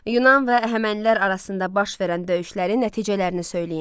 Yunan və Əhəmənilər arasında baş verən döyüşlərin nəticələrini söyləyin.